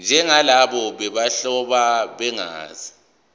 njengalabo bobuhlobo begazi